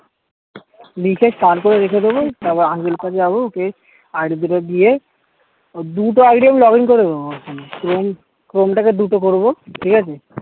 রে রেখে দেব তারপর আহ টা যাবো ওকে ID দুটো দিয়ে ওর দুইটা ID আমি login করে দেব এবং chrome তাকে দুটো করবো ঠিক আছে